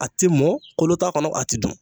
A ti mɔn kolo t'a kɔnɔ a ti dun